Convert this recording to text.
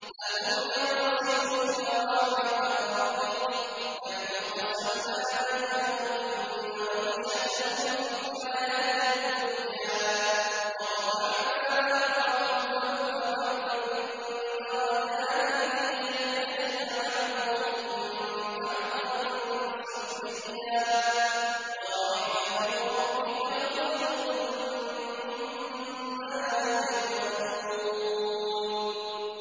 أَهُمْ يَقْسِمُونَ رَحْمَتَ رَبِّكَ ۚ نَحْنُ قَسَمْنَا بَيْنَهُم مَّعِيشَتَهُمْ فِي الْحَيَاةِ الدُّنْيَا ۚ وَرَفَعْنَا بَعْضَهُمْ فَوْقَ بَعْضٍ دَرَجَاتٍ لِّيَتَّخِذَ بَعْضُهُم بَعْضًا سُخْرِيًّا ۗ وَرَحْمَتُ رَبِّكَ خَيْرٌ مِّمَّا يَجْمَعُونَ